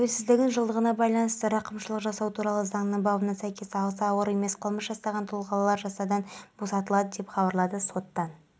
жылға дейін салық жиналуын пайыздан пайызға дейін көтеру көзделіп отыр оны инспекторлық тексерістерді азайтудың арқасында жүзеге